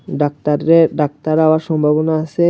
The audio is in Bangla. ডাক্তাররে ডাক্তার হওয়ার সম্ভাবনা আসে।